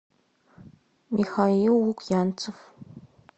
михаил лукьянцев